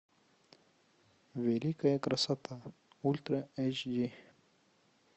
великая красота ультра эйч ди